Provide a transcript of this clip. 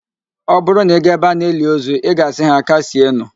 Ọ bụrụ na ị gaa ebe a na-eli ozu, ị ga-asị ha, "kasienụ"